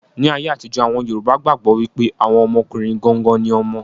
Ní ayé àtijó, àwọn yorùbá gbàgbọ́ wípé àwọn ọmọkùnrin gangan ni ọmọ.